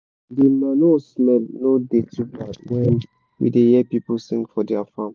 de manure smell no da too bad when we da hear pipu sing for dia farm